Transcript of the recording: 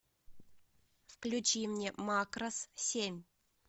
включи мне макрос семь